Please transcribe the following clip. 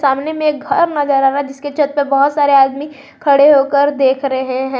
सामने में एक घर नजर आ रहा है जिसके छत पर बहौत सारे आदमी खड़े होकर देख रहे है।